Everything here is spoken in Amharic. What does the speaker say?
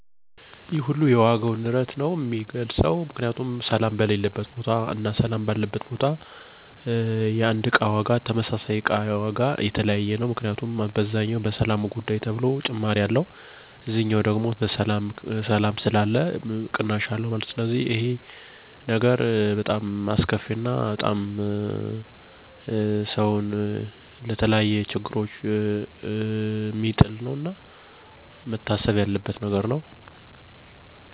1. በገበያው ላይ የሚወዱት ነገር ዋጋ መገናኘት የሚቻልበት፣ መቅረት የሚቻል እና ውድ የሆነ ነገር ለመግዛት እርምጃ መውሰድ የሚቻል መሆኑ። ቀጣይ ነገሮችን ማግኘት (በቀላሉ እና በጊዜ ሳይወሰድ)። ምርቶች በየአይነቱ ተቀመጡ መሆናቸው፣ እና የእቃውን መመርመር በራስዎ 2. በገበያው ላይ የሚጠሉት ነገር ተጨማሪ ብዛት፣ ግጭት ወይም ተቃውሞ ከአካባቢ ሰዎች። አንዳንድ አንዳንድ ነገሮች የተበላሸ ወይም እሴት የጐደለባቸው መሆናቸው። ዋጋዎች የተለዋዋጭ መሆናቸው፣ ለአንዳንድ ነገሮች ዋጋ በተመሳሳይ ቦታ የተለያዩ መሆኑ።